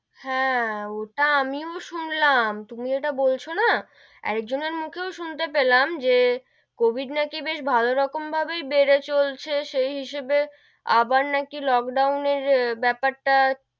হেঁ, ওটা আমিও শুনলাম, তুমি যেটা বলছো না, একজনের মুখেও শুনতে পেলাম, যে কবিড নাকি বেশ ভালো রকম ভাবেই বেড়ে চলেছে, সেই হিসেবে আবার নাকি লোকডাউনের বেপার টা,